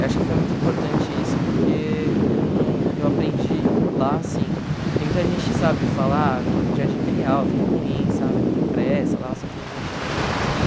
Eu acho que foi muito importante isso porque eu não eu aprendi lá, assim, tem muita gente que sabe fala, ah, Jardim Peri Alto, mó ruim, sabe, não presta, lá só tem gente ruim, não sei o que.